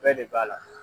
Bɛɛ de b'a la